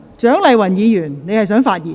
蔣麗芸議員，你是否想發言？